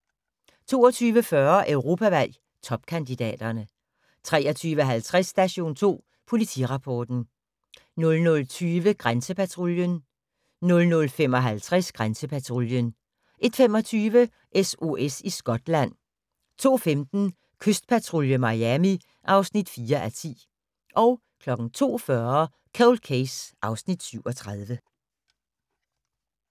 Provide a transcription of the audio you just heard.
22:40: Europavalg: Topkandidaterne 23:50: Station 2 Politirapporten 00:20: Grænsepatruljen 00:55: Grænsepatruljen 01:25: SOS i Skotland 02:15: Kystpatrulje Miami (4:10) 02:40: Cold Case (Afs. 37)